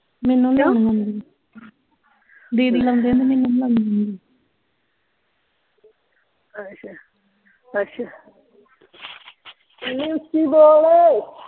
ਮੈਨੂੰ ਨਹੀਂ ਲਾਉਣੀਆਂ ਆਉਂਦੀਆਂ ਦੀਦੀ ਲਾਉਂਦੇ ਹੁੰਦੇ ਮੈਨੂੰ ਨਹੀਂ ਲਾਉਣੀਆਂ ਆਉਂਦੀਆਂ ਆਸ਼ਾ ਅੱਛਾ ਮੰਨੇ ਉੱਚੀ ਬੋਲ